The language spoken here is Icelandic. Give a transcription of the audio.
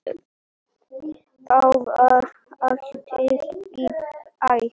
Þá var hátíð í bæ.